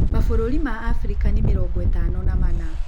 Mabũrũri ma Afrika nĩ mĩrongo ĩtano na mana.